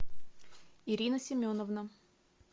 ирина семеновна